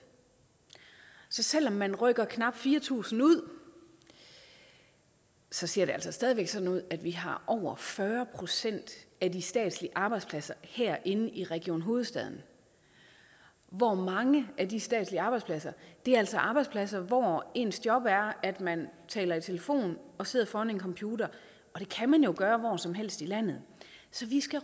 så selv om man rykker knap fire tusind ud ser det altså stadig sådan ud at vi har over fyrre procent af de statslige arbejdspladser herinde i region hovedstaden og mange af de statslige arbejdspladser er altså arbejdspladser hvor ens job er at man taler i telefon og sidder foran en computer og det kan man jo gøre hvor som helst i landet så vi skal